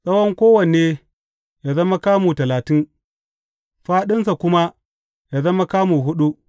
Tsawon kowanne yă zama kamu talatin, fāɗinsa kuma yă zama kamu huɗu.